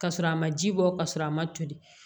Ka sɔrɔ a ma ji bɔ ka sɔrɔ a ma toli